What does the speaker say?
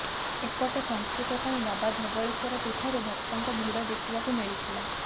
ଏପଟେ ପଞ୍ଚୁକ ପାଇଁ ବାବା ଧବଳେଶ୍ୱର ପୀଠରେ ଭକ୍ତଙ୍କ ଭିଡ ଦେଖିବାକୁ ମିଳିଥିଲା